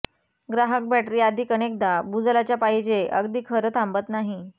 ग्राहक बॅटरी अधिक अनेकदा भूजलाच्या पाहिजे अगदी खरं थांबत नाही